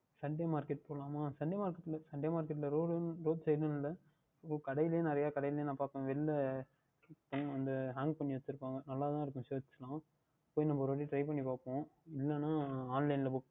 Sunday market போகலாமா Sunday market ல இல்லை Sunday marketRoadRoad Side கடைளையும் நிறைய கிடைக்கும் நான் பார்ப்பேன் வெளியில் வந்து அஹ் Anch பண்ணி வைத்து இருப்பார்கள் நன்றாக தான் இருக்கும் Shirts லாம் போய் ஒரு வாற்றி நாம் Try பண்ணி பார்ப்போம் இலையென்றால் Online ல Book